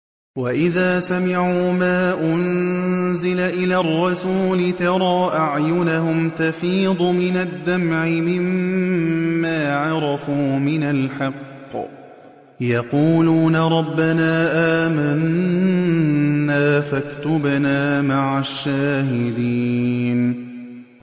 وَإِذَا سَمِعُوا مَا أُنزِلَ إِلَى الرَّسُولِ تَرَىٰ أَعْيُنَهُمْ تَفِيضُ مِنَ الدَّمْعِ مِمَّا عَرَفُوا مِنَ الْحَقِّ ۖ يَقُولُونَ رَبَّنَا آمَنَّا فَاكْتُبْنَا مَعَ الشَّاهِدِينَ